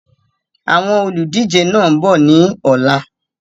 Àwọn olùdíje náà ń bọ̀ ni ọ̀la